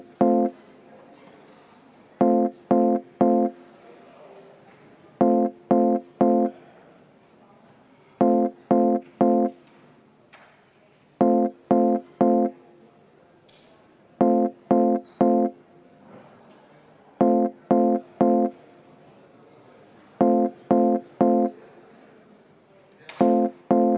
Ma palun seda hääletada ja enne seda kümme minutit vaheaega!